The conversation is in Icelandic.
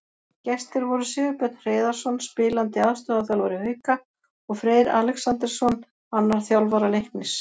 Gestir voru Sigurbjörn Hreiðarsson, spilandi aðstoðarþjálfari Hauka, og Freyr Alexandersson, annar þjálfara Leiknis.